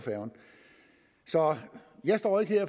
så jeg står ikke her